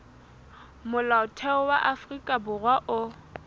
molaotheo wa afrika borwa o